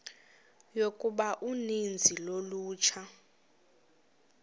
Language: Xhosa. yokuba uninzi lolutsha